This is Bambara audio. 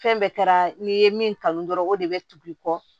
Fɛn bɛɛ kɛra n'i ye min kanu dɔrɔn o de bɛ tugu i kɔ